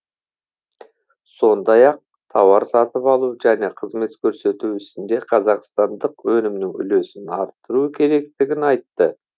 сондай ақ тауар сатып алу және қызмет көрсету ісінде қазақстандық өнімнің үлесін арттыру керектігін айтты